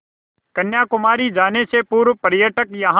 कन्याकुमारी जाने से पूर्व पर्यटक यहाँ